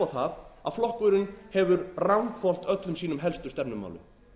horfir upp á það að flokkurinn hefur ranghvolft öllum sínum helstu stefnumálum